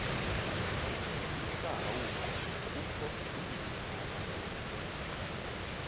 isahauko kukho ibinzana